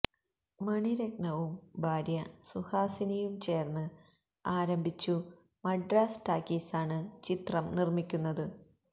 മണിരത്നവും ഭാര്യ സുഹാസിനിയും ചേർന്ന് ആരംഭിച്ചു മദ്രാസ് ടാക്കീസാണ് ചിത്രം നിർിക്കുന്നത്